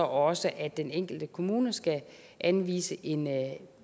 også at den enkelte kommune skal anvise en